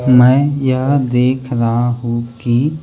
मैं यह देख रहा हूं कि--